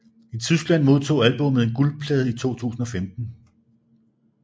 I Tyskland modtog albummet en guldplade i 2015